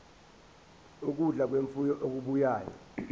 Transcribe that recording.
ukudla kwemfuyo okubuya